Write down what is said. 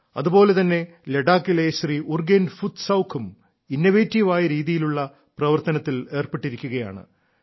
അതുപോലെ തന്നെ ലഡാക്കിലെ ശ്രീ ഉർഗേൻ ഫുത് സൌഖും ഇന്നവേറ്റീവ് ആയ രീതിയിലുള്ള പ്രവർത്തനത്തിൽ ഏർപ്പെട്ടിരിക്കുകയാണ്